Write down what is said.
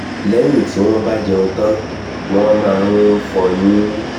lẹ́yìn tí wọ́n wọ́n bá jẹun tán wọ́n máa ń fọyín